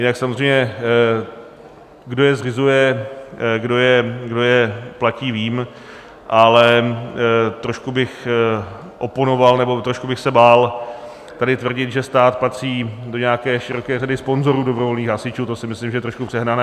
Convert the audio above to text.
Jinak samozřejmě, kdo je zřizuje, kdo je platí, vím, ale trošku bych oponoval nebo trošku bych se bál tady tvrdit, že stát patří do nějaké široké řady sponzorů dobrovolných hasičů, to si myslím, že je trošku přehnané.